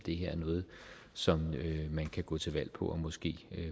er noget som man kan gå til valg på og måske